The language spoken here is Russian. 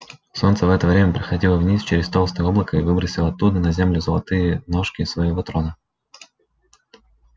солнце в это время проходило вниз через толстое облако и выбросило оттуда на землю золотые ножки своего трона